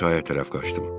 Mən çaya tərəf qaçdım.